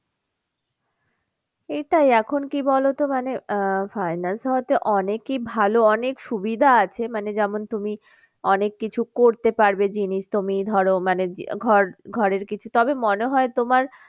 এটাই এখন কি বলতো মানে আহ finance হওয়াতে অনেকেই ভালো অনেক সুবিধা আছে মানে যেমন তুমি অনেক কিছু করতে পারবে জিনিস তুমি ধরো মানে ঘর, ঘরের কিছু তবে মনে হয় তোমার